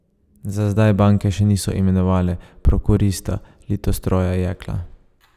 Za zdaj banke še niso imenovale prokurista Litostroja Jekla.